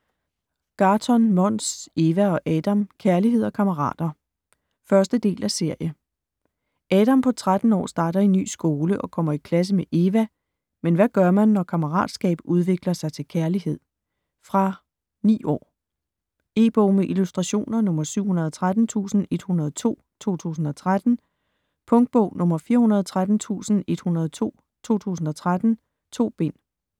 Gahrton, Måns: Eva og Adam - kærlighed og kammerater 1. del af serie. Adam på 13 år starter i ny skole og kommer i klasse med Eva. Men hvad gør man når kammeratskab udvikler sig til kærlighed? Fra 9 år. E-bog med illustrationer 713102 2013. Punktbog 413102 2013. 2 bind.